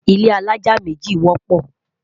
ilé alájá méjì wọpọ